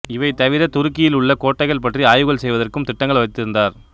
இவை தவிரத் துருக்கியில் உள்ள கோட்டைகள் பற்றி ஆய்வுகள் செய்வதற்கும் திட்டங்கள் வைத்திருந்தார்